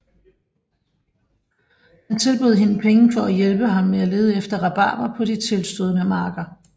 Han tilbød hende penge for at hjælpe ham med at lede efter rabarber på de tilstødende marker